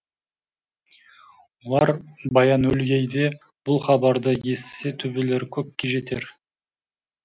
олар баянөлгейде бұл хабарды естісе төбелері көкке жетер